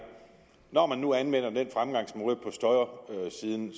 når man nu anvender den fremgangsmåde på støjsiden